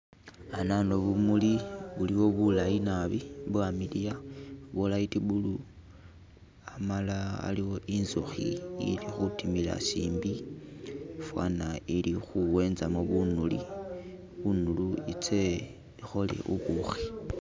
Hanano bumuli buliwo bulayi naabi bwamiliya bwo light blue hamala haliwo inzukhi ilikhudimila chimbi fana ili khuwezamo bunuli bunuli itse ikhole bubukhi.